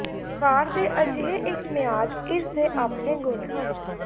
ਵਾਰ ਦੇ ਅਜਿਹੇ ਇੱਕ ਮਿਆਦ ਇਸ ਦੇ ਆਪਣੇ ਗੁਣ ਹਨ